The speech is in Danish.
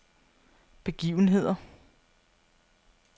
begivenheder